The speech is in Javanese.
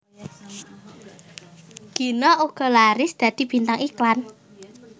Gina uga laris dadi bintang iklan